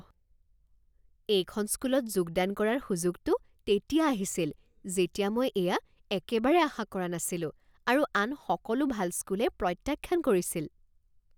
এইখন স্কুলত যোগদান কৰাৰ সুযোগটো তেতিয়া আহিছিল যেতিয়া মই এয়া একেবাৰে আশা কৰা নাছিলোঁ আৰু আন সকলো ভাল স্কুলে প্ৰত্যাখ্যান কৰিছিল